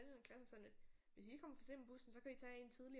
Klassen var sådan lidt hvis I kommer for sent med bussen så kan I tage en tidligere